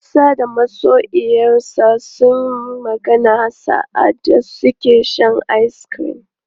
Musa da masoyiyarsa sunyi magana sa'adda suke shan ice cream.